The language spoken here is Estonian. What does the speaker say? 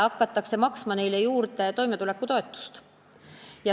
Neile tuleks maksma hakata ka toimetulekutoetust.